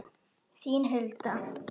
Þín Hulda.